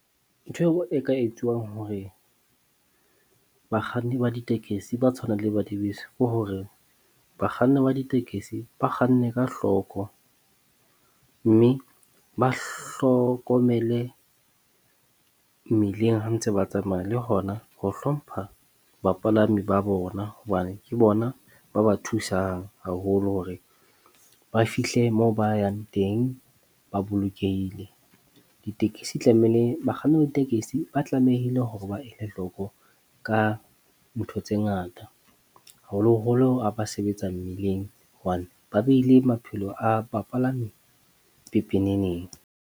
Ntho e ka etsuwang hore bakganni ba ditekesi ba tshwanang le ba dibese ke hore bakganni ba ditekesi ba kganne ka hloko. Mme ba hlokomele mmileng ha ntse ba tsamaya. Le hona ho hlompha bapalami ba bona, hobane ke bona ba ba thusang haholo hore ba fihle moo ba yang teng ba bolokehile. Ditekesi tlamehile bakganni ba ditekesi ba tlamehile hore ba ele hloko ka ntho tse ngata, haholoholo ha ba sebetsa mmileng hobane ba behile maphelo a bapalami pepeneneng.